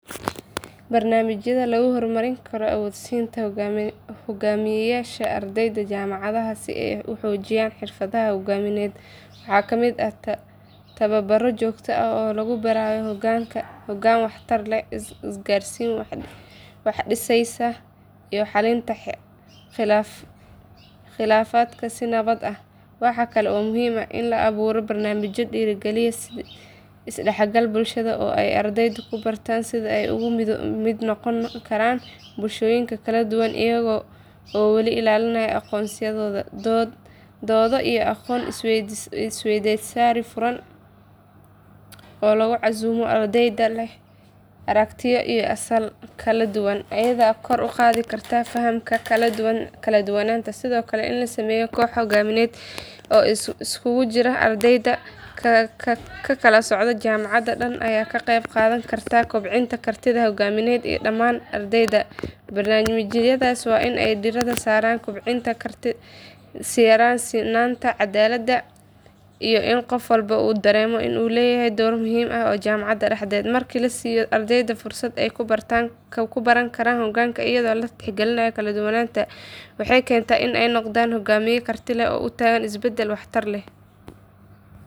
Barnaamijyada lagu horumarin karo awood-siinta hoggaamiyeyaasha ardayda jaamacadaha si ay u xoojiyaan xirfadaha hoggaamineed waxaa ka mid ah tababaro joogto ah oo lagu barayo hoggaan waxtar leh, isgaarsiin wax dhisaysa, iyo xallinta khilaafaadka si nabad ah. Waxa kale oo muhiim ah in la abuuro barnaamijyo dhiirrigeliya is dhexgalka bulshada oo ay ardaydu ku bartaan sida ay uga mid noqon karaan bulshooyin kala duwan iyaga oo weli ilaalinaya aqoonsigooda. Doodo iyo aqoon isweydaarsi furan oo lagu casuumo ardayda leh aragtiyo iyo asal kala duwan ayaa kor u qaadi kara fahamka kala duwanaanta. Sidoo kale, in la sameeyo kooxo hoggaamineed oo isugu jira ardayda ka kala socda jaamacadda dhan ayaa ka qayb qaadan kara kobcinta kartida hoggaamineed ee dhammaan ardayda. Barnaamijyadaas waa in ay diiradda saaraan sinnaanta, cadaaladda, iyo in qof walba uu dareemo in uu leeyahay door muhiim ah jaamacadda dhexdeeda. Markii la siiyo ardayda fursado ay ku baran karaan hogaanka iyadoo la tixgelinayo kala duwanaanta, waxay keentaa in ay noqdaan hogaamiyeyaal karti leh oo u taagan isbeddel waxtar leh.